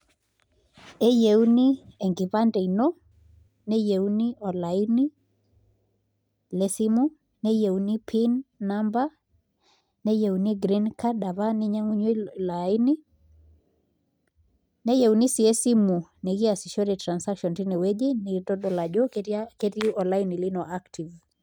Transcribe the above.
Eyieuni enkipande ino neyiuni olaini lino lesimu neeyieuni pin number neyiuni green card apa ninyiang'unyie ilo aini neyiuni sii esimu nikiasishore transaction tinewueji nikintodol ajo ketii olaini lino active.